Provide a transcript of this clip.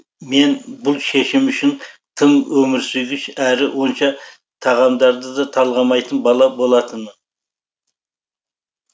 мен бұл шешім үшін тым өмірсүйгіш әрі онша тағамдарды да талғамайтын бала болатынмын